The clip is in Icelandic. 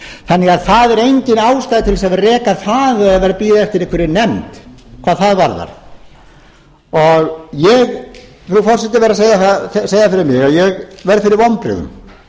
þannig að það er engin ástæða til að vera að reka það eða bíða eftir einhverri nefnd hvað það varðar ég verð frú forseti að segja fyrir mig að ég verð fyrir vonbrigðum